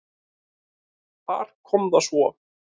Þar kom það svo!